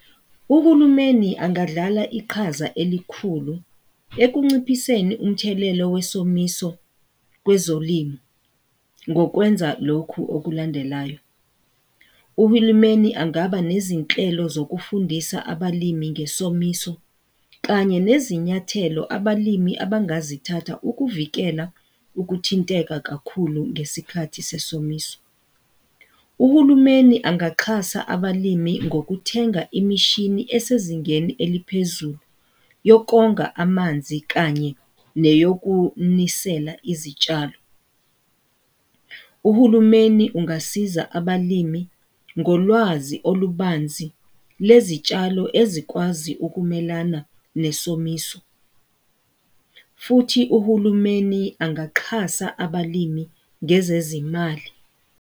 Uhulumeni angadlala iqhaza elikhulu ekunciphiseni umthelelo wesomiso kwezolimi. Ngokwenza lokhu okulandelayo, uhulumeni angaba nezinhlelo sokufundisa abalimi ngesomiso kanye nezinyathelo abalimi abangazithatha ukuvikela ukuthinteka kakhulu ngesikhathi sesomisa. Uhulumeni angaxhasa abalimi ngokuthenga imishini esezingeni eliphezulu yokonga amanzi kanye neyokunisela izitshalo. Uhulumeni ungasiza abalimi ngolwazi olubanzi lezitshalo ezikwazi ukumelana nesomiso, futhi uhulumeni angaxhasa abalimi ngezezimali.